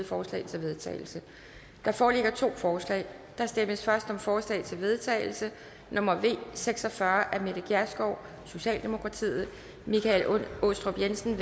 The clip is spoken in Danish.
forslag til vedtagelse der foreligger to forslag der stemmes først om forslag til vedtagelse nummer v seks og fyrre af mette gjerskov michael aastrup jensen